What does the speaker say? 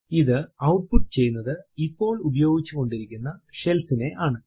ഇത് ഔട്ട്പുട്ട് ചെയ്യുന്നത് ഇപ്പോൾ ഉപയോഗിച്ചുകൊണ്ടിരിക്കുന്ന ഷെൽ നെയാണ്